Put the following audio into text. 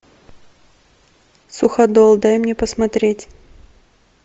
суходол дай мне посмотреть